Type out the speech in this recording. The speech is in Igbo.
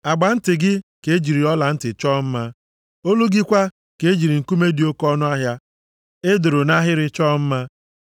Agba nti gị ka e jiri ọlantị chọọ mma, olu gị kwa ka e jiri nkume dị oke ọnụahịa e doro nʼahịrị chọọ mma.